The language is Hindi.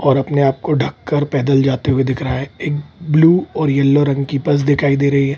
और अपने आप को ढक कर पैदल जाते हुए दिख रहा है एक ब्लू और येलो रंग की बस दिखाई दे रही है।